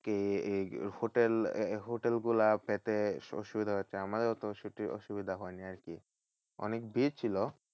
কি hotel hotel গুলা পেতে অসুবিধা হচ্ছে। আমাদের অত অসু~ অসুবিধা হয়নি আরকি, অনেক ভিড় ছিল।